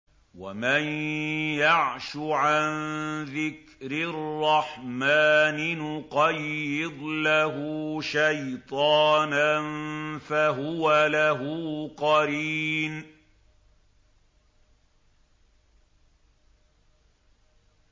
وَمَن يَعْشُ عَن ذِكْرِ الرَّحْمَٰنِ نُقَيِّضْ لَهُ شَيْطَانًا فَهُوَ لَهُ قَرِينٌ